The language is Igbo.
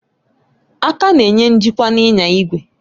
Aka na-enye njikwa n'inya igwe